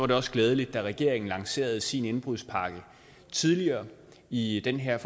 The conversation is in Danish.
det også glædeligt da regeringen lancerede sin indbrudspakke tidligere i den her